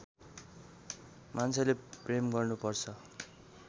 मान्छेले प्रेम गर्नु पर्छ